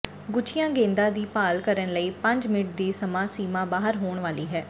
ਗੁਆਚੀਆਂ ਗੇਂਦਾਂ ਦੀ ਭਾਲ ਕਰਨ ਲਈ ਪੰਜ ਮਿੰਟ ਦੀ ਸਮਾਂ ਸੀਮਾ ਬਾਹਰ ਹੋਣ ਵਾਲੀ ਹੈ